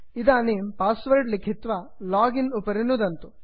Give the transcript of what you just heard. इदानीं पास्वर्ड् लिखित्वा लोगिन् उपरि नुदन्तु